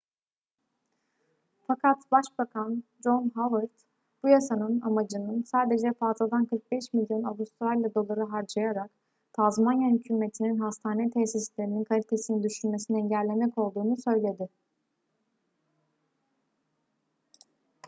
fakat başbakan john howard bu yasanın amacının sadece fazladan 45 milyon avustralya doları harcayarak tazmanya hükümetinin hastane tesislerinin kalitesini düşürmesini engellemek olduğunu söyledi